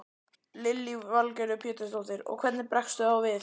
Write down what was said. Lillý Valgerður Pétursdóttir: Og hvernig bregstu þá við?